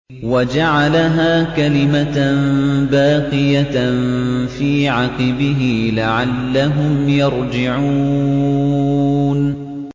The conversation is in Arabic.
وَجَعَلَهَا كَلِمَةً بَاقِيَةً فِي عَقِبِهِ لَعَلَّهُمْ يَرْجِعُونَ